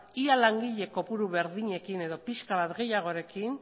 ia langile kopuru berdinekin edo pixka bat gehiagorekin